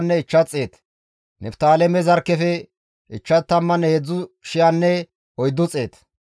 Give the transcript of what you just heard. Heyta qooday issi bolla 603,550 gidides.